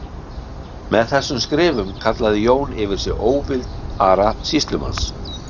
Með þessum skrifum kallaði Jón yfir sig óvild Ara sýslumanns.